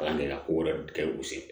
Kalan kɛ ka ko wɛrɛ kɛ u sen fɛ